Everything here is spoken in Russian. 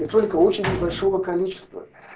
и только очень небольшого количества